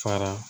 Fara